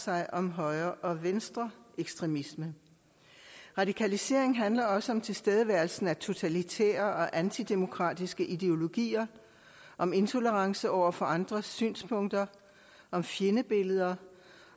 sig om højre og venstreekstremisme radikalisering handler også om tilstedeværelsen af totalitære og antidemokratiske ideologier om intolerance over for andres synspunkter om fjendebilleder